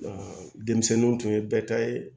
denmisɛnninw tun ye bɛɛ ta ye